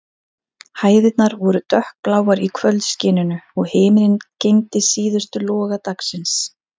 Hæðirnar voru dökkbláar í kvöldskininu, og himinninn geymdi síðustu loga dagsins.